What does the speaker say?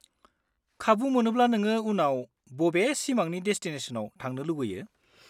-खाबु मोनोब्ला नोङो उनाव बबे सिमांनि डेसटिनेसनआव थांनो लुबैयो?